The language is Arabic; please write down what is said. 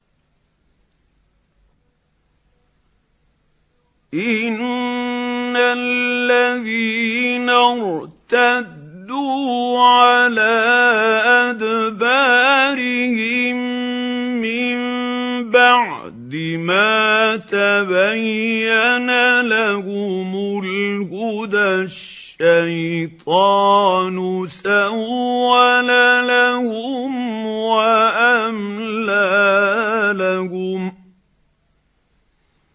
إِنَّ الَّذِينَ ارْتَدُّوا عَلَىٰ أَدْبَارِهِم مِّن بَعْدِ مَا تَبَيَّنَ لَهُمُ الْهُدَى ۙ الشَّيْطَانُ سَوَّلَ لَهُمْ وَأَمْلَىٰ لَهُمْ